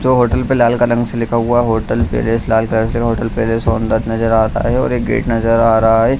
Hotel पर लाल colour से लिखा हुआ नजर है होटल पे और एक गेट नजर आ रहा है।